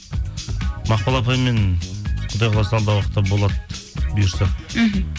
мақпал апаймен құдай қаласа алдағы уақытта болады бұйырса мхм